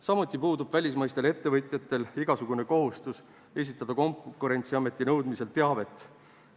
Samuti puudub välismaistel ettevõtjatel igasugune kohustus esitada Konkurentsiameti nõudmisel teavet.